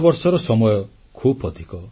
10 ବର୍ଷର ସମୟ ଖୁବ୍ ଅଧିକ